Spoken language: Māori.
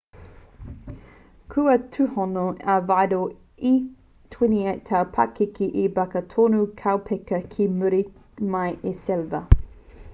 kua tūhono a vidal e 28 tau te pakeke i barca e toru kaupeka ki muri mai i sevilla